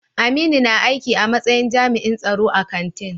Aminu na aiki a matsayin jami'in tsaro a kantin.